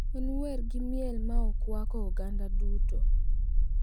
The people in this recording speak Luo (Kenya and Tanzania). En wer gi miel ma okwako oganda duto.